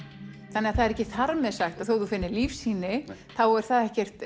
þannig að það er ekki þar með sagt að þótt þú finnir lífsýni þá er það ekkert